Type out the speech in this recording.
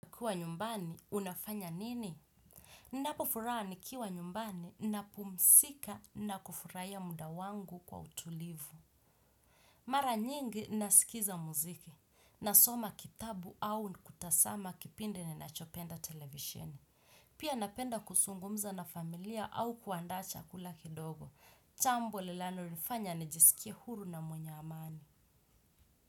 Kuwa nyumbani, unafanya nini? Ninapofuraha nikiwa nyumbani napumzika na kufurahia muda wangu kwa utulivu. Mara nyingi nasikiza muziki. Nasoma kitabu au natazama kipindi ninachopenda televisheni. Pia napenda kuzungumza na familia au kuandaa chakula kidogo. Jambo linalo nifanya nijisikie uhuru na mwenye amani.